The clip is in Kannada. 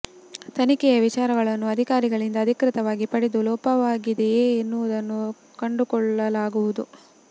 ತನಿಖೆಯ ವಿಚಾರಗಳನ್ನು ಅಧಿಕಾರಿಗಳಿಂದ ಅಧಿಕೃತ ವಾಗಿ ಪಡೆದು ಲೋಪವಾಗಿದೆಯೇ ಎನ್ನುವುದನ್ನು ಕಂಡುಕೊಳ್ಳಲಾಗುವುದು